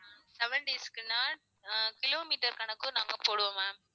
seven days க்குனா ஆஹ் kilometer கணக்கும் நாங்க போடுவோம் ma'am